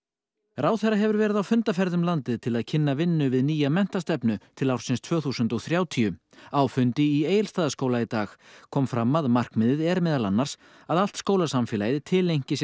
ráðherra hefur verið á fundaferð um landið til að kynna vinnu við nýja menntastefnu til ársins tvö þúsund og þrjátíu á fundi í Egilsstaðaskóla í dag kom fram að markmiðið er meðal annars að allt skólasamfélagið tileinki sér